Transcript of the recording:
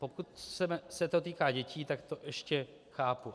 Pokud se to týká dětí, tak to ještě chápu.